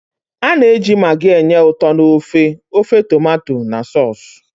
A na-eji maggi enye ụtọ n'ofe, ofe tomato na sọọsụ.